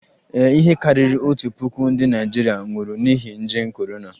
Ee, ihe karịrị otu puku ndị Naịjirịa nwụrụ n'ihi nje korona